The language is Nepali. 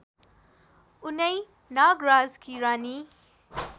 उनै नागराजकी रानी